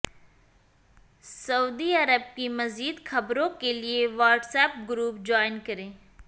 سعودی عرب کی مزید خبروں کے لیے واٹس ایپ گروپ جوائن کریں